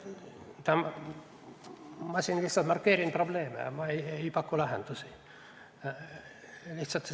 Ma markeerin lihtsalt probleeme ega paku lahendusi.